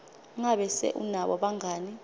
ngabe se unabo bangani